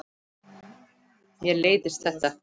Mér leiðist þetta.